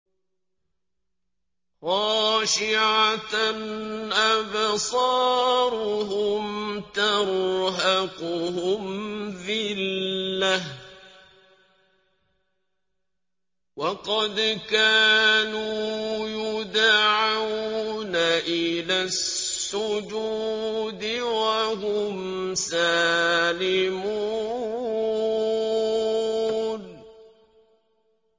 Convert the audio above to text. خَاشِعَةً أَبْصَارُهُمْ تَرْهَقُهُمْ ذِلَّةٌ ۖ وَقَدْ كَانُوا يُدْعَوْنَ إِلَى السُّجُودِ وَهُمْ سَالِمُونَ